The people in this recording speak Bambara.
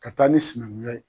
Ka taa ni sinankunya ye.